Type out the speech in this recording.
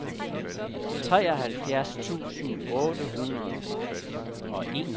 treoghalvfjerds tusind otte hundrede og enogtredive